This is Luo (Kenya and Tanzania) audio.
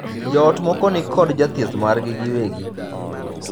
Joot moko ni kod jathieth margi giwegi.